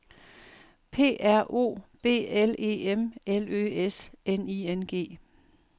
P R O B L E M L Ø S N I N G